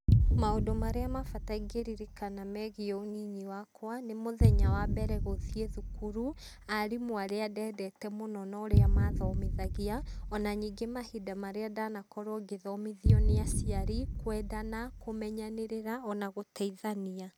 Maũndũ marĩa ma bata ingĩririkana megiĩ ũnyinyi wakwa nĩ mũthenya wa mbere gũthiĩ thukuru, aarimũ arĩa ndendete mũno na ũrĩa mathomithagia, o na ningĩ mahinda marĩa ndanakorwo ngĩthomithio nĩ aciari kwendana, kũmenyanĩrĩra o na gũteithania.